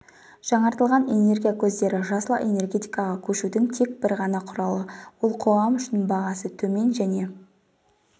жаңартылатын энергия көздері жасыл энергетикаға көшудің тек бір ғана құралы ол қоғам үшін бағасы төмен және